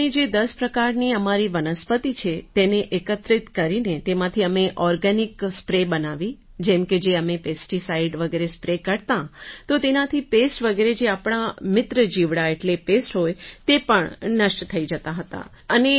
sir અમે જે દસ પ્રકારની અમારી વનસ્પતિ છે તેને એકત્રિત કરીને તેમાંથી અમે ઑર્ગેનિક સ્પ્રે બનાવી જેમ કે જે અમે પેસ્ટિસાઇડ વગેરે સ્પ્રે કરતાં તો તેનાથી પેસ્ટ વગેરે જે આપણાં મિત્ર જીવડા એટલે પેસ્ટ હોય તે પણ નષ્ટ થઈ જતાં હતાં